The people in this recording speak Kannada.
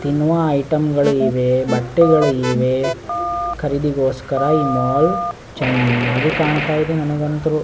ತಿನ್ನುವ ಐಟಮ್ ಗಳು ಇವೆ ಬಟ್ಟೆಗಳು ಇವೆ ಖರಿದಿಗೋಸ್ಕರ ಈ ಮಾಲ್ ಚೆನ್ನಾಗಿ ಕಾಣ್ತಿದೆ ನನಗಂತೂ .